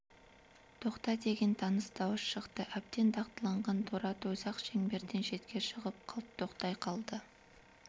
тоқта деген таныс дауыс шықты әбден дағдыланған торы ат өзі-ақ шеңберден шетке шығып қалт токтай қалды